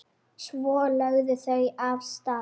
Svo lögðu þau af stað.